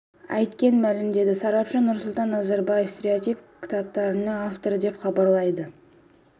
айткен мәлімдеді сарапшы нурсултан назарбаев стереотип кітаптарының авторы деп хабарлайды